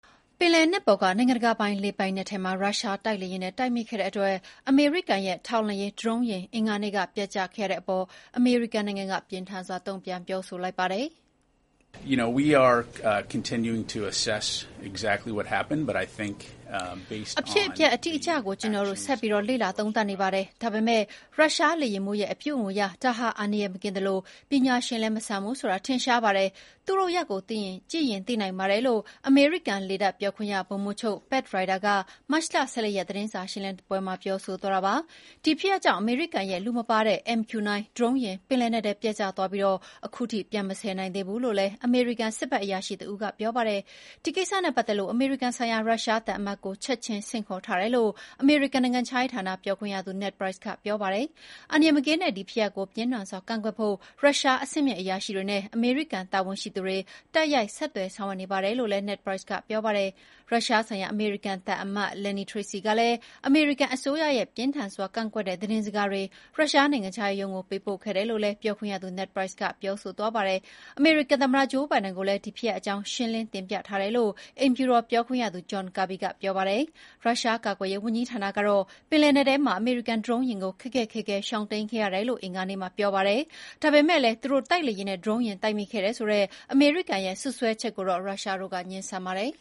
ပင်လယ်နက်ပေါ်က နိုင်ငံတကာပိုင်လေပိုင်နက်ထဲမှာ ရုရှားတိုက်လေယာဉ်နဲ့ တိုက်မိခဲ့တဲ့အတွက် အမေရိကန်ရဲ့ထောက်လှမ်းရေးဒရုန်းယာဉ် အင်္ဂါနေ့က ပျက်ကျခဲ့ရတဲ့အပေါ် အမေရိကန်က ပြင်းထန်စွာတုံ့ပြန်ပြောဆိုလိုက်ပါတယ်။ “အဖြစ်အပျက်အတိအကျကို ကျနော်တို့ ဆက်ပြီးလေ့လာသုံးသပ်နေပါတယ်။ ဒါပေမယ့် ရုရှားလေယာဉ်မှူးရဲ့အပြုအမူအရ ဒါဟာ အန္တရာယ်မကင်းသလို ပညာရှင်လည်းမဆန်ဘူးဆိုတာထင်ရှားပါတယ်။ သူ့လုပ်ရပ်ကိုကြည့်ရင် သိနိုင်ပါတယ်။” လို့ အမေရိကန်လေတပ်ပြောခွင့်ရ ဗိုလ်မှူးချုပ် Pat Ryder က မတ်လ ၁၄ ရက် သတင်းစာရှင်းလင်းပွဲမှာပြောဆိုသွားတာပါ။ ဒီဖြစ်ရပ်ကြောင့် အမေရိကန်ရဲ့လူမပါတဲ့ MQ-9 ဒရုန်းယာဉ် ပင်လက်နက်ထဲ ပျက်ကျသွားပြီး ခုထိပြန်မဆယ်နိုင်သေးဘူးလို့လည်း အမေရိကန်စစ်ဖက်အရာရှိတဦး ကပြောပါတယ်။ ဒီကိစ္စနဲ့ပတ်သက်လို့ အမေရိကန်ဆိုင်ရာရုရှားသံအမတ်ကို ချက်ချင်း ဆင့်ခေါ်ထားတယ်လို့ အမေရိကန်နိုင်ငံခြားရေးဌာနပြောခွင့်ရ Ned Price ကပြောပါတယ်။ အန္တရာယ်မကင်းတဲ့ ဒီဖြစ်ရပ်ကို ပြင်းထန်စွာကန့်ကွက်ဖို့ ရုရှားအဆင့်မြင့်အရာရှိတွေနဲ့ အမေရိကန်တာဝန်ရှိသူတွေ တိုက်ရိုက်ဆက်သွယ်ဆောင်ရွက်နေတယ်လို့လည်း Ned Price က ပြောပါတယ်။ ရုရှားဆိုင်ရာအမေရိကန်သံအမတ် Lynne Tracy ကလည်း အမေရိကန်အစိုးရရဲ့ ပြင်းထန်စွာကန့်ကွက်တဲ့ သတင်းစကားတွေ ရုရှားနိုင်ငံခြားရေးရုံးကို ပေးပို့ခဲ့တယ်လို့လည်း ပြောခွင့်ရသူ Ned Price ကပြောပါတယ်။ အမေရိကန်သမ္မတ ဂျိုးဘိုင်ဒန်ကိုလည်း ဒီဖြစ်ရပ်အကြောင်း ရှင်းလင်းတင်ပြထားတယ်လို့ အိမ်ဖြူတော်ပြောခွင့်ရသူ John Kirby ကပြောပါတယ်။ ရုရှားကာကွယ်ရေးဝန်ကြီးဌာနကတော့ ပင်လယ်နက်ထဲမှာ အမေရိကန်ဒရုန်းယာဉ်ကို ခက်ခက်ခဲခဲရှောင်တိမ်းခဲ့ရတယ်လို့ အင်္ဂါနေ့မှာပြောပါတယ်။ ဒါပေမယ့်လည်း သူတို့တိုက်လေယာဉ်နဲ့ ဒရုန်းယာဉ်တိုက်မိခဲ့တယ်ဆိုတဲ့ အမေရိကန်ရဲ့ စွပ်စွဲချက်ကိုတော့ ရုရှားတို့က ငြင်းဆန်ပါတယ်